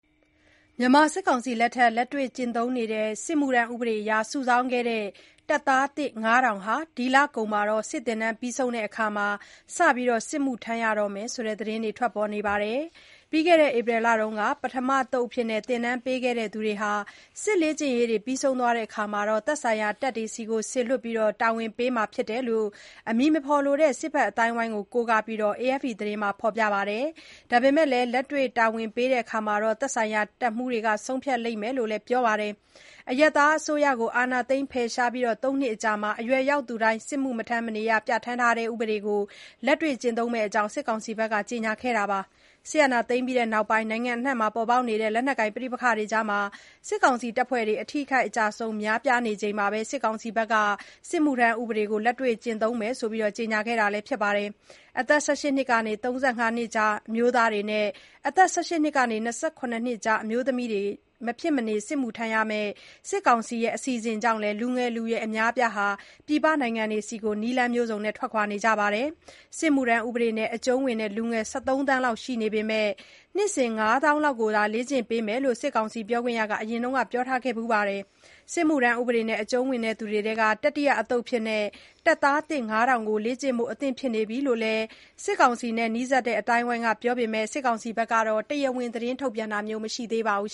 မြန်မာစစ်ကောင်စီလက်ထက် လက်တွေ့ကျင့်သုံးနေတဲ့ စစ်မှုထမ်းဥပဒေအရ စုဆောင်းခဲ့တဲ့ တပ်သားသစ် ၅၀၀၀ လောက်ဟာ ဒီလကုန်မှာ စစ်သင်တန်းပြီးဆုံးတဲ့အခါ စတင်စစ်မှုထမ်းရတော့မယ်လို့ သတင်းတွေ ထွက်ပေါ်နေပါတယ်။ ပြီးခဲ့တဲ့ ဧပြီလမှာ ပထမသုတ်အဖြစ် သင်တန်းပေးခဲ့တဲ့ သူတွေဟာ လေ့ကျင့်ရေး ပြီးဆုံးတဲ့အခါ သက်ဆိုင်ရာ တပ်တွေကို စေလွှတ်ပြီး တာဝန်ပေးမှာဖြစ်ကြောင်း အမည်မဖော်လိုသူ စစ်ဖက်အသိုင်းအဝိုင်းကို ကိုးကားပြီး AFP သတင်းက ဖော်ပြပါတယ်။ ဒါပေမဲ့လည်း လက်တွေ့ တာဝန်ပေးရာမှာ သက်ဆိုင်ရာ တပ်မှူးတွေက ဆုံးဖြတ်လိမ့်မယ်လို့လည်း ပြောပါတယ်။ အရပ်သားအစိုးရကို အာဏာသိမ်း ဖယ်ရှားပြီး ၃ နှစ်အကြာမှာ အရွယ်ရောက်သူတွေ စစ်မှုထမ်းဖို့ ပြဌာန်းထားတဲ့ ဥပဒေကို လက်တွေ့ကျင့်သုံးမယ့်အကြောင်း စစ်ကောင်စီက ကြေညာခဲ့တာပါ။ စစ်အာဏာသိမ်းပြီးနောက်ပိုင်း နိုင်ငံအနှံ့ ပေါက်ပေါက်နေတဲ့ လက်နက်ကိုင် ပဋိပက္ခတွေမှာ စစ်ကောင်စီတပ်ဖွဲ့တွေ အထိအခိုက် အကျအဆုံး များပြားနေချိန်မှာပဲ စစ်မှုထမ်းဥပဒေကို လက်တွေ့ကျင့်သုံးဖို့ ကြေညာခဲ့တာလည်း ဖြစ်ပါတယ်။ အသက် ၁၈ နှစ်ကနေ ၃၅ ကြား အမျိုးသားတွေနဲ့ အသက် ၁၈ နှစ်ကနေ ၂၇ နှစ်ကြား အမျိုးသမီးတွေ မဖြစ်မနေ စစ်မှုထမ်းရမယ့် စစ်ကောင်စီရဲ့ အစီအစဉ်ကြောင့် လူငယ်လူရွယ် အများအပြားဟာလည်း ပြည်ပနိုင်ငံတွေကို ထွက်ခွာခဲ့ကြတာပါ။ စစ်မှုထမ်း ဥပဒေနဲ့ အကျုံးဝင်တဲ့ လူငယ် ၁၃ သန်းလောက် ရှိနေပေမဲ့ နှစ်စဉ် ၅ သောင်းလောက်သာ လေ့ကျင့်ပေးနိုင်တယ်လို့လည်း စစ်ကောင်စီပြောခွင့်ရက အရင်က ပြောထားဖူးပါတယ်။ စစ်မှုထမ်း ဥပဒေနဲ့ အကျုံးဝင်သူတွေထဲက တတိယအသုတ်အဖြစ် တပ်သားသစ် ၅၀၀၀ ကို လေ့ကျင့်ဖို့ အသင့်ဖြစ်နေပြီလို့လည်း စစ်တပ်နဲ့ နီးစပ်သူ အသိုင်းအဝိုင်းက ပြောပေမဲ့ စစ်ကောင်စီကတော့ တရားဝင် သတင်းထုတ်ပြန်တာမျိုး မရှိသေးပါဘူး